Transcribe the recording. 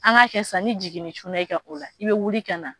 An k'a kɛ sisan ni jiginni cunna i kan o la i bɛ wuli ka na